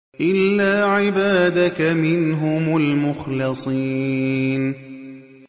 إِلَّا عِبَادَكَ مِنْهُمُ الْمُخْلَصِينَ